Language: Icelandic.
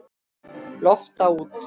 Lofta út.